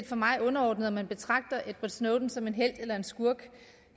for mig underordnet om man betragter edward snowden som en helt eller en skurk